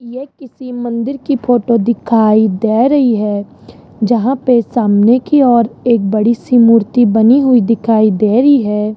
यह किसी मंदिर की फोटो दिखाई दे रही है जहां पे सामने की ओर एक बड़ी सी मूर्ति बनी हुई दिखाई दे रही है।